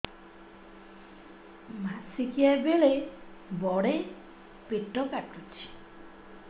ମାସିକିଆ ବେଳେ ବଡେ ପେଟ କାଟୁଚି